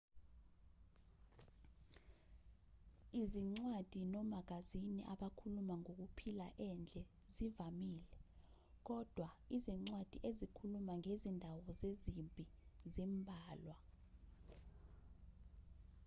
izincwadi nomagazini abakhuluma ngokuphila endle zivamile kodwa izincwadi ezikhuluma ngezindawo zezimpi zimbalwa